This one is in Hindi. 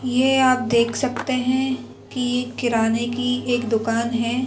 यह आप देख सकते हैं कि यह किराने की एक दुकान है।